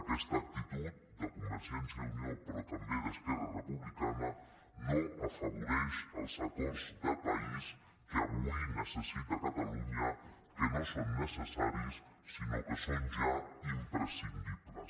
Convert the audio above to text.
aquesta actitud de convergència i unió però també d’esquerra republicana no afavoreix els acords de país que avui necessita catalunya que no són necessaris sinó que són ja imprescindibles